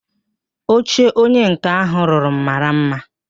Oche onye nká ahụ rụrụ m mara mma